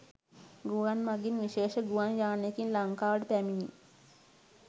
ගුවන් මගින් විශේෂ ගුවන් යානයකින් ලංකාවට පැමිණි